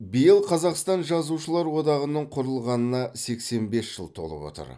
биыл қазақстан жазушылар одағының құрылғанына сексен бес жыл толып отыр